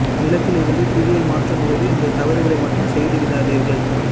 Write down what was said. விளக்கில் இருந்து தீபத்திரியை மாற்றும் போது இந்த தவறுகளை மட்டும் செய்து விடாதீர்கள்